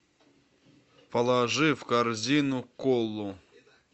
положи в корзину колу